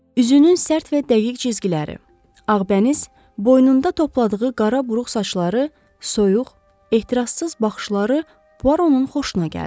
Üzünün sərt və dəqiq cizgiləri, ağbəniz, boynunda topladığı qara buruq saçları, soyuq, ehtirassız baxışları Puaronun xoşuna gəldi.